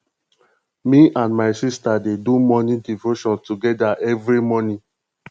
me and my sista dey do morning devotion togeda every morning